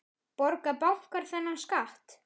Borga bankar þennan skatt?